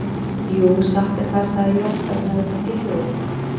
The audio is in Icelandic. Jú, satt er það, sagði Jón þegar hann hafði fengið hljóð.